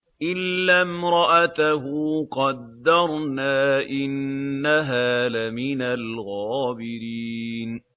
إِلَّا امْرَأَتَهُ قَدَّرْنَا ۙ إِنَّهَا لَمِنَ الْغَابِرِينَ